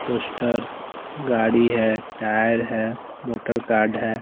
उस्टर गाडी हैं टायर हैं मोटर काद है।